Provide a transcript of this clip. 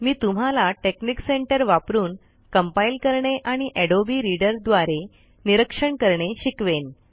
मी तुम्हाला technic center वापरुन compile करणे आणि अडोबे रीडर द्वारे निरीक्षण करणे शिकवेन